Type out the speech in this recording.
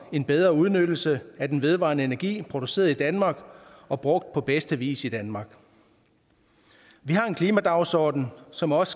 en bedre udnyttelse af den vedvarende energi produceret i danmark og brugt på bedste vis i danmark vi har en klimadagsorden som også